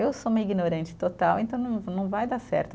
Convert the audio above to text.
Eu sou uma ignorante total, então não não vai dar certo.